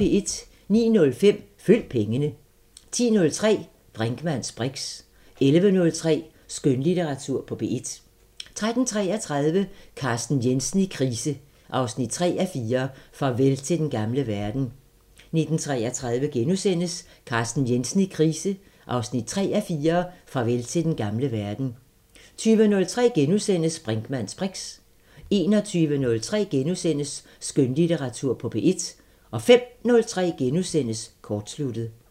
09:05: Følg pengene 10:03: Brinkmanns briks 11:03: Skønlitteratur på P1 13:33: Carsten Jensen i krise 3:4 – Farvel til den gamle verden 19:33: Carsten Jensen i krise 3:4 – Farvel til den gamle verden * 20:03: Brinkmanns briks * 21:03: Skønlitteratur på P1 * 05:03: Kortsluttet *